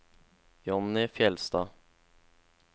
Johnny Fjellstad